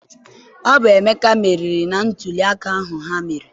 Ọ bụ Emeka meriri na ntụliaka ahụ ha mere.